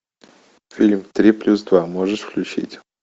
фильм три плюс два можешь включить